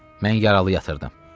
Mən yaralı yatırdım.